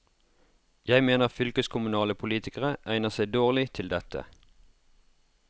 Jeg mener fylkeskommunale politikere egner seg dårlig til dette.